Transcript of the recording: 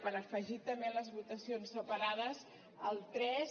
per afegir també a les votacions separades el tres